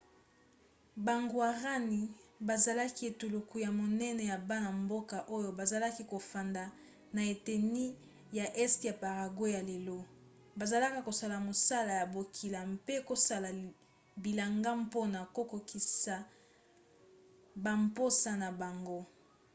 bagwarani bazalaki etuluku ya monene ya bana-mboka oyo bazalaki kofanda na eteni ya este ya paraguay ya lelo bazalaki kosala mosala ya bokila mpe kosala bilanga mpona kokokisa bamposa na bango